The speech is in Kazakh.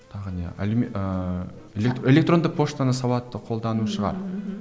тағы не ыыы электронды почтаны сауатты қолдану шығар ммм